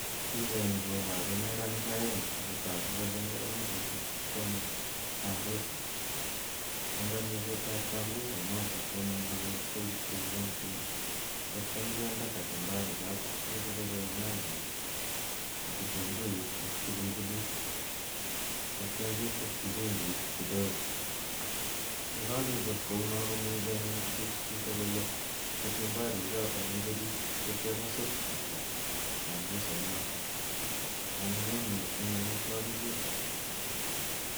Pichaini koparu neranik aeng' ako tagu kole neranichuto koamei sambusa , eng' amishetap sambusa inotok komuchi kityo kepchei kopuun kwen tatiam kinde kachumbari chotok che kakichope nyanyeek ak kitunguik ak pilipilik tetia keteschi chumbiik kidogo. Ye kakechop kouno anyun komuchi kotuch chito kole kachumbari en oriit tatiam kosuus kityo sambusa intokok. Anyinyen missing amitwogichotok